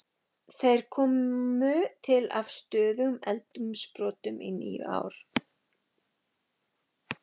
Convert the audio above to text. Þeir komu til af stöðugum eldsumbrotum í níu ár.